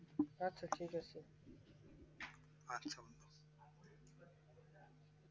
আচ্ছা ঠিক আছে